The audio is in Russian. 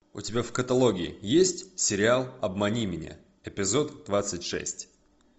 у тебя в каталоге есть сериал обмани меня эпизод двадцать шесть